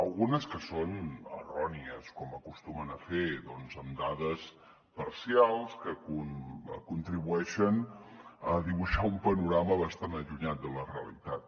algunes que són errònies com acostumen a fer doncs amb dades parcials que contribueixen a dibuixar un panorama bastant allunyat de la realitat